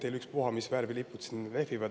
Teil ükspuha, mis värvi lipud siin lehvivad.